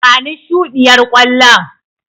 Bani shuɗiyar ƙwallon.